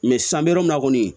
san an bɛ yɔrɔ min na kɔni